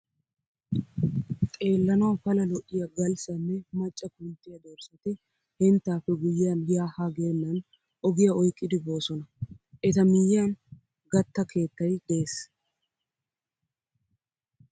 Xeelawu pala lo'iya galssa nne macca kunttiya dorssati henttaappe guyyiyan yaa haa geennan ogiya oyqqidi boosona. Eta miyyiyan gatta keettay de'es.